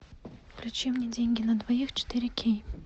включи мне деньги на двоих четыре кей